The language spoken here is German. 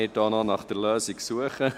Es zählt hoch statt runter.